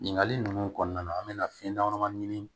Ɲininkali ninnu kɔnɔna na an bɛna fɛn damadama ɲini